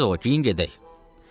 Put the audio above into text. Tez ol, geyin, gedək.”